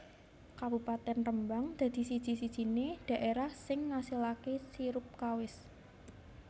Kabupatèn Rembang dadi siji sijinè daèrah sing ngasilakè sirup kawis